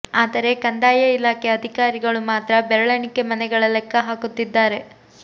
ಆದರೆ ಕಂದಾಯ ಇಲಾಕೆ ಅಧಿಕಾರಿಗಳು ಮಾತ್ರ ಬೆರಳೆಣಿಕೆ ಮನೆಗಳ ಲೆಕ್ಕ ಹೇಳುತ್ತಿದ್ದಾರೆ